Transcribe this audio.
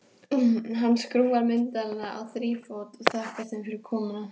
Hann skrúfar myndavélina á þrífót og þakkar þeim fyrir komuna.